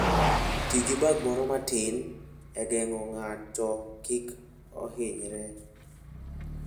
Ti gi bag moro matin e geng'o ng'ato kik ohinyre.